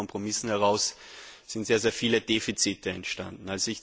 Und aus diesen Kompromissen heraus sind sehr viele Defizite entstanden.